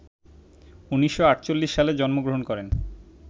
১৯৪৮ সালে জন্মগ্রহণ করেন